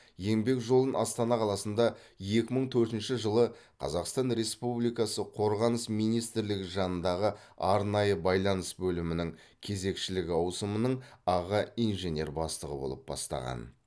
еңбек жолын астана қаласында екі мың төртінші жылы қазақстан республикасы қорғаныс министрлігі жанындағы арнайы байланыс бөлімінің кезекшілік ауысымының аға инженер бастығы болып бастаған